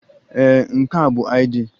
Ee, nke a bụ ID.